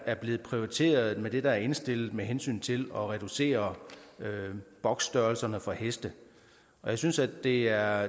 er blevet prioriteret med det der er indstillet med hensyn til at reducere boksstørrelserne for heste jeg synes at det er